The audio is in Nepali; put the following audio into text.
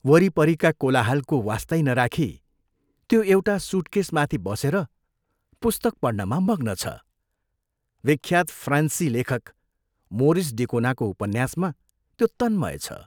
वरिपरिका कोलाहलको वास्तै नराखी त्यो एउटा सूटकेशमाथि बसेर पुस्तक पढ्नमा मग्न छ विख्यात फ्रान्सी लेखक मोरिस डिकोनाको उपन्यासमा त्यो तन्मय छ।